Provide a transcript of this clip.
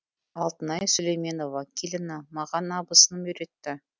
алтынай сүлейменова келіні маған абысыным үйретті